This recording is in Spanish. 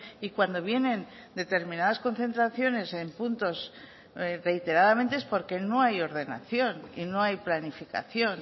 y cuando vienen determinadas concentraciones en puntos reiteradamente es porque no hay ordenación y no hay planificación